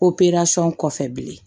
kɔfɛ bilen